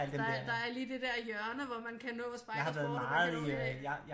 Der er der er lige det dér hjørne hvor man kan nå Spejdersport og man kan nå